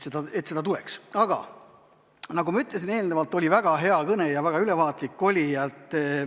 Aga nagu ma juba ütlesin, oli väga hea kõne, väga ülevaatlik.